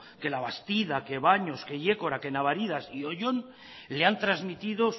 que la bastida que baños que yécora que navaridas y oyón le han trasmitido